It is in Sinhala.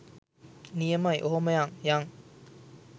නියමයි ඔෙහාම යං යං.